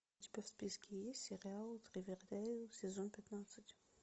у тебя в списке есть сериал ривердейл сезон пятнадцать